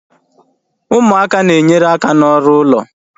Ụmụaka na enyere aka ná ọrụ ụlọ